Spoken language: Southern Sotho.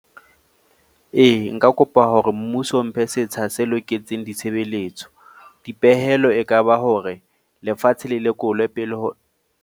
Ee, nka kopa hore mmuso o mphe setsha se loketseng ditshebelletso. Dipehelo ekaba hore lefatshe le lekolwe pele ho.